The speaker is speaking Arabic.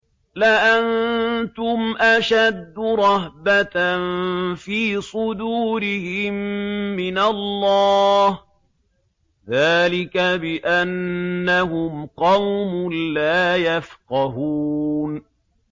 لَأَنتُمْ أَشَدُّ رَهْبَةً فِي صُدُورِهِم مِّنَ اللَّهِ ۚ ذَٰلِكَ بِأَنَّهُمْ قَوْمٌ لَّا يَفْقَهُونَ